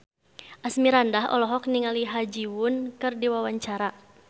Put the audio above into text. Asmirandah olohok ningali Ha Ji Won keur diwawancara